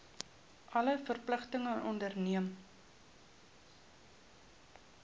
alle verpligtinge onderneem